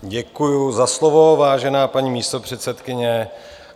Děkuji za slovo, vážená paní místopředsedkyně.